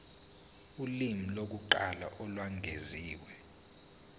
ulimi lokuqala olwengeziwe